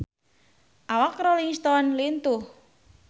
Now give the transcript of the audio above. Awak Rolling Stone lintuh